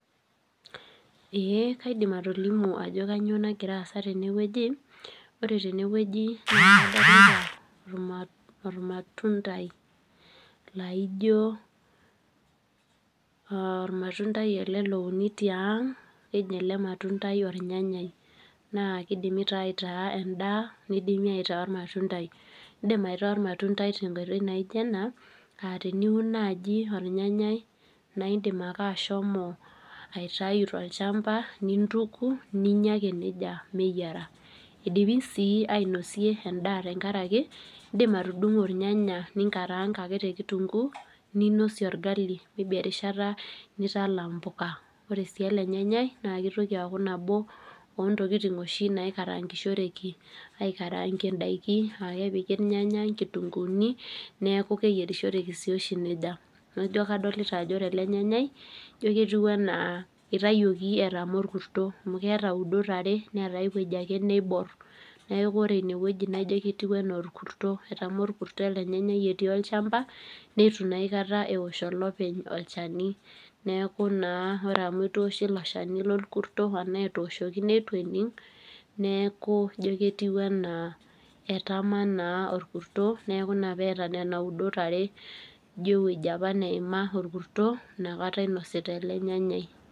Ee kaidim atolimu ajo kanyioo nagira aasa tenewueji, ore tenewueji naa kadolita ormatuntai, laijo ormatuntai ele louni tiang',keji ele matundai ornyanyai. Na kidimi taa aitaa endaa, nidimi aitaa ormatuntai. Idim aitaa ormatuntai tenkoitoi naija ena, ah teniun naji ornyanyai na idim ake ashomo aitayu tolchamba nintuku, ninya ake nejia meyiara. Idimi si ainosie endaa tenkaraki, idim atudung'o irnyanya ninkaraanka ake tekitunkuu, ninosie orgali erishata nitala mpuka. Ore si ele nyanyai, na kitoki aku nabo ontokiting oshi naikarankishoreki aikarankie daiki, ah kepiki irnyanya, nkitunkuuni, neeku keyierishoreki toshi nejia. Na ijo kadolita ajo ore ele nyanyai, jo ketiu enaa itayioki etama orkuto. Amu keeta udot are, neeta ai woji ake neibor. Neeku ore inewueji naijo ketiu enaa orkuto etama orkuto ele nyanyai etii olchamba, nitu naa aikata ewosh olopeny olchani. Neeku naa ore amu itu ewoshi ilo shani lorkuto, enaa etooshoki neitu ening', neeku ijo ketiu enaa etama naa orkuto, neeku ina peeta nena udot are, ijo ewueji apa neima orkuto, nakata inosita ele nyanyai.